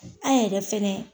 An yɛrɛ fɛnɛ ye